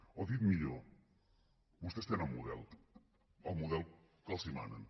o dit millor vostès tenen model el model que els manen